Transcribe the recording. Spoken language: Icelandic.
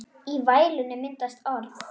Í vælinu myndast orð.